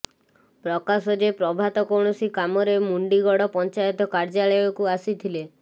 ପ୍ରକାଶ ଯେ ପ୍ରଭାତ କୌଣସି କାମରେ ମୁଣ୍ଡିଗଡ ପଞ୍ଚାୟତ କାର୍ଯ୍ୟାଳୟକୁ ଆସିଥିଲେ